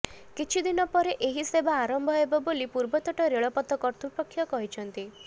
କିଛି ଦିନ ପରେ ଏହି ସେବା ଆରମ୍ଭ ହେବ ବୋଲି ପୂର୍ବତଟ ରେଳପଥ କର୍ତ୍ତୃପକ୍ଷ କହିଛନ୍ତି